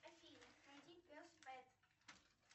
афина найди пес пэт